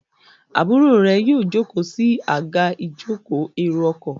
Àbúrò rẹ yíò joko sí Àga ìjókòó èrò ọkọ̀.